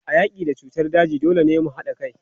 A yaki da cutar daji, dole ne mu hada kai.